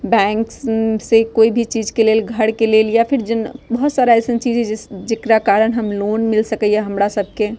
बैंक उम से कोई भी चीज के लेल घर के लेल या फिर जिन बोहोत सारा अइसन चीज हेय जिस जेकरा कारण हम लोन मिल सकय ये हमरा सब के।